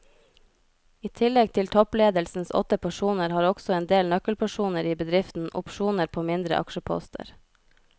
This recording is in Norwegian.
I tillegg til toppledelsens åtte personer har også en del nøkkelpersoner i bedriften opsjoner på mindre aksjeposter.